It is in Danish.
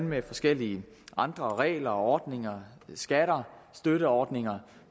med forskellige andre regler ordninger skatter og støtteordninger